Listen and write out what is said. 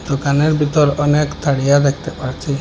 দোকানের বিতর অনেক থারিয়া দেখতে পারছি।